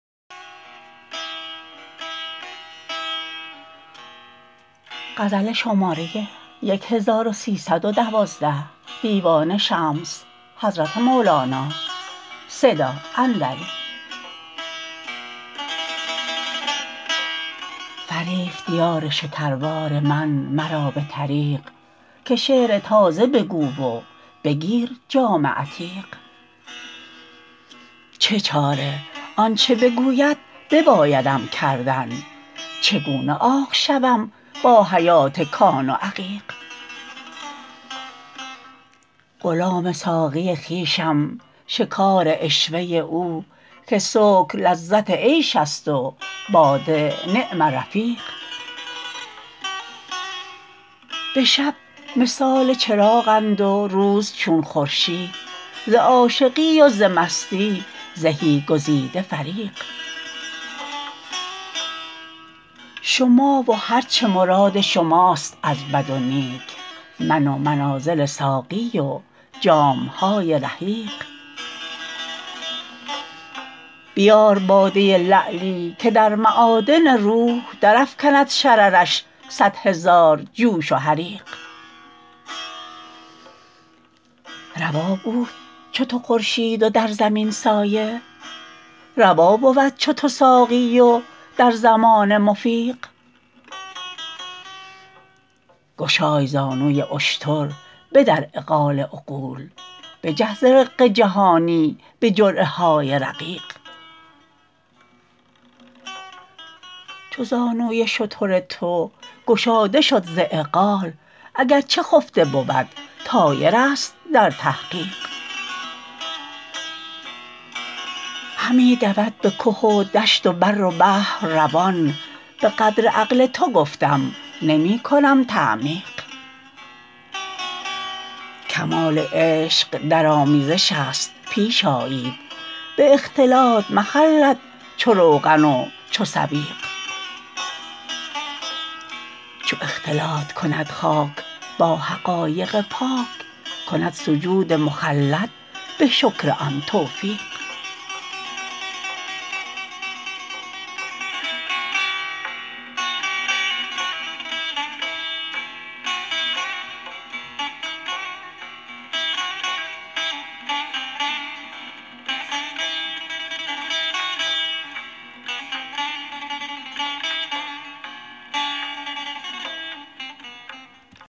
فریفت یار شکربار من مرا به طریق که شعر تازه بگو و بگیر جام عتیق چه چاره آنچ بگوید ببایدم کردن چگونه عاق شوم با حیات کان و عقیق غلام ساقی خویشم شکار عشوه او که سکر لذت عیش است و باده نعم رفیق به شب مثال چراغند و روز چون خورشید ز عاشقی و ز مستی زهی گزیده فریق شما و هر چه مراد شماست از بد و نیک من و منازل ساقی و جام های رحیق بیار باده لعلی که در معادن روح درافکند شررش صد هزار جوش و حریق روا بود چو تو خورشید و در زمین سایه روا بود چو تو ساقی و در زمانه مفیق گشای زانوی اشتر بدر عقال عقول بجه ز رق جهانی به جرعه های رقیق چو زانوی شتر تو گشاده شد ز عقال اگر چه خفته بود طایرست در تحقیق همی دود به که و دشت و بر و بحر روان به قدر عقل تو گفتم نمی کنم تعمیق کمال عشق در آمیزش ست پیش آیید به اختلاط مخلد چو روغن و چو سویق چو اختلاط کند خاک با حقایق پاک کند سجود مخلد به شکر آن توقیق